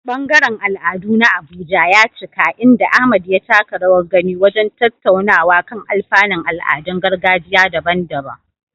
Ɓangaren al'adu na Abuja ya cika, inda Ahmad ya taka rawar gani wajen tattaunawa kan alfanun al'adun gargajiya daban-daban.